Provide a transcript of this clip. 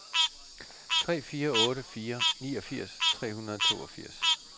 tre fire otte fire niogfirs tre hundrede og toogfirs